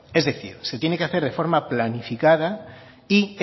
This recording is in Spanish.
es decir se tiene que hacer de forma planificada y